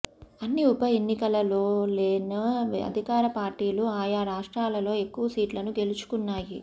అన్ని ఉప ఎన్నికలలోవలెనే అధికార పార్టీలు ఆయా రా ష్ట్రాలలో ఎక్కువ సీట్లను గెలుచుకున్నాయి